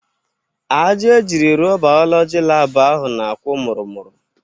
Aja ejiri rụọ Bayọlọji laabụ ahụ na-akwụ mụrụ mụrụ.